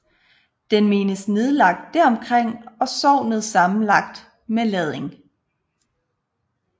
Den menes nedlagt deromkring og sognet sammenlagt med Lading